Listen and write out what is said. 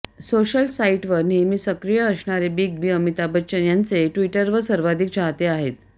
social साईटवर नेहमी सक्रिय असणारे बिग बी अमिताभ बच्चन यांचे ट्विटरवर सर्वाधिक चाहते आहेत